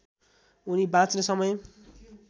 उनी बाँच्ने समय